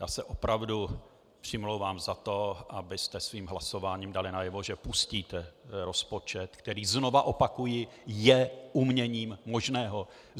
Já se opravdu přimlouvám za to, abyste svým hlasováním dali najevo, že pustíte rozpočet, který, znovu opakuji, je uměním možného.